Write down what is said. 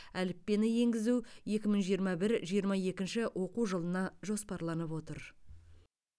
әліппені енгізу екі мың жиырма бір жиырма екінші оқу жылына жоспарланып отыр